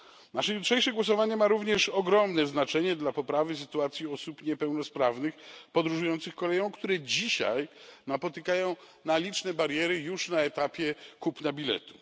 Nasze jutrzejsze głosowanie ma również ogromne znaczenie dla poprawy sytuacji osób niepełnosprawnych podróżujących koleją, które dzisiaj napotykają liczne bariery już na etapie kupna biletu.